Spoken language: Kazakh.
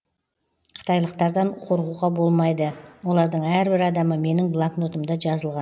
қытайлықтардан қорқуға болмайды олардың әрбір адамы менің блокнотымда жазылған